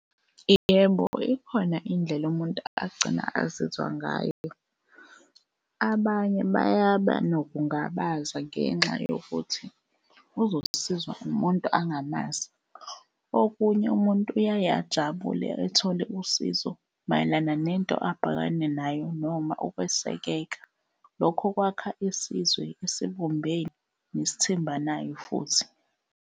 Yebo, ikhona indlela umuntu agcine azizwe ngayo. Abanye bayaba nokungabaza ngenxa yokuthi uzosizwa umuntu angamazi. Okunye umuntu uyaye ajabule ethole usizo mayelana nento abhekane nayo noma ukwesekeka. Lokho kwakha isizwe esibumbene nesithembanayo futhi.